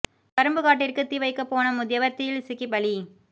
கரும்புக் காட்டிற்கு தீ வைக்கப் போன முதியவர் தீயில் சிக்கிப் பலி